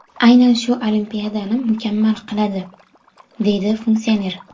Aynan shu Olimpiadani mukammal qiladi”, deydi funksioner.